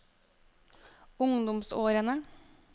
ungdomsårene